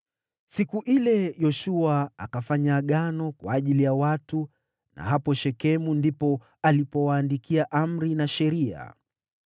Siku ile Yoshua akafanya agano kwa ajili ya watu na hapo Shekemu ndipo alipowaandikia amri na sheria.